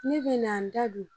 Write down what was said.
Ne bɛna n da don